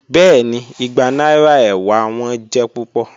Bẹẹni, igba naira ewa wọn jẹ pupọ.